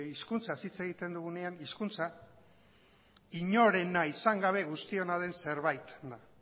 hizkuntzaz hitz egiten dugunean hizkuntza inorena izan gabe guztiona den zerbait da